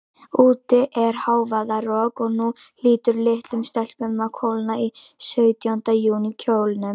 Úti er hávaðarok, og nú hlýtur litlum stelpum að kólna í sautjánda júní kjólunum.